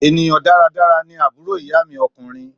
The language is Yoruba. Ènìyàn dáradára ni àbúrò ìyá mi ọkùnrin.